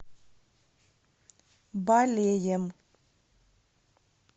балеем